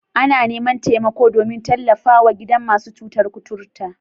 Ana neman taimako domin tallafwa gidan masu cutar kuturta.